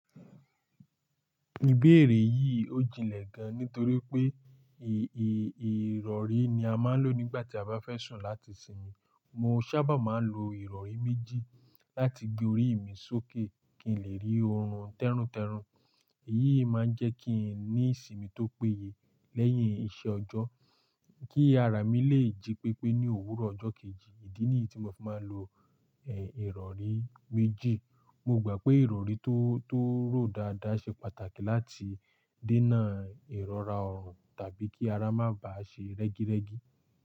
Ìbéèrè yìí ó jinlẹ̀ gan nítorí pé èè, ìrọ̀rí ni a máa ń lò nígbà tí a bá fẹ́ sùn láti sinmi. Mo ṣábà máa ń lo ìrọ̀rí méjì láti gbé orí mi sókè kí n lè rí orun tẹ́runtẹ́run. Èyí máa ń jẹ́ kí n ní sinmi tó péye lẹ́yìn iṣẹ́ ọjọ́ kí ara mi lè jí pépé ní òwúrọ̀ ọjọ́ kejì. Ìdí nìyí tí mo fi máa ń lo, eh, ìrọ̀rí méjì. Mo gbà pé ìrọ̀rí tó, tó rò dáadáa ṣe pàtàkì láti dènà ìrọra ọrùn tàbí kí ara máa ba ṣe rẹ́gírẹ́gi.